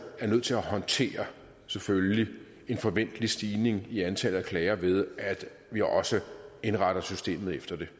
er nødt til at håndtere selvfølgelig en forventelig stigning i antallet af klager ved at vi også indretter systemet efter det